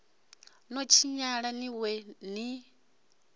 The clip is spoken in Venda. no tshinyala ni wee ni